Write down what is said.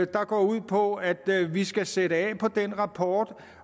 går ud på at vi skal sætte af fra den rapport